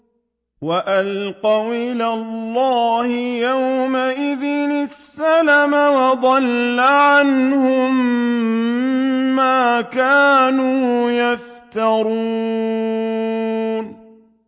وَأَلْقَوْا إِلَى اللَّهِ يَوْمَئِذٍ السَّلَمَ ۖ وَضَلَّ عَنْهُم مَّا كَانُوا يَفْتَرُونَ